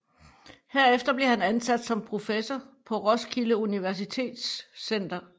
Herefter blev han ansat som professor på Roskilde Universitets Center